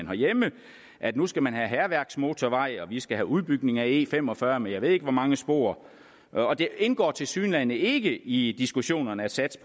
herhjemme at nu skal man have hærværksmotorvej og vi skal have udbygning af e fem og fyrre med jeg ved ikke hvor mange spor og det indgår tilsyneladende ikke i diskussionerne at satse